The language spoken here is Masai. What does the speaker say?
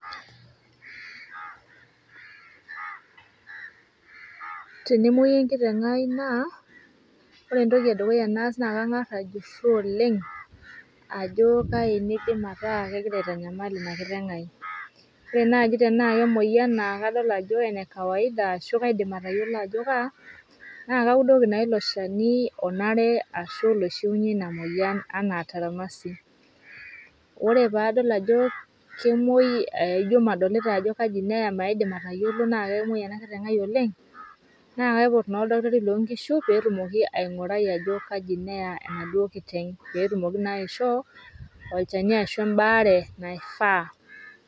Tenemoi enkitengai naa ore entoki edukuyaa naa naa langas ajuso oleng ajoo kaji naidim ataa egira aitanyamal ina kiteng'ai, ore naaji tenaa ake emoyian naa kadol ajoo enekawaida ashuu kaidim atayolo ajoo kaa ,naa kaudoki naa ilo sheni onare ashu loishuenye ilo moyian anaa trimasin, ore paadol ajo kemoi ijo madolita ajo kaji neeya maidim atayolo naa kemoi ena kiteng'ai oleng naaa kaipot naa oldakitari loo inkishu peetumoki aing'urai ajoo kjaji neyaa enaduo kiteng peetumoki naa aishoo olcheni ashuu imbaare naifaa.